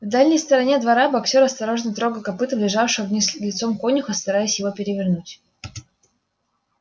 в дальней стороне двора боксёр осторожно трогал копытом лежавшего вниз лицом конюха стараясь его перевернуть